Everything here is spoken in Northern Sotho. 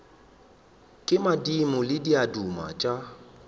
ke madimo le diaduma tša